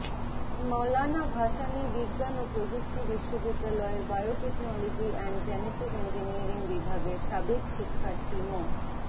মাওলানা ভাসানী বিজ্ঞানও প্রযুক্তি বিশ্ববিদ্যালয়ের বায়োটেকনোলজি অ্যান্ড জেনেটিক ইঞ্জিনিয়ারিং বিভাগের সাবেক শিক্ষার্থী মো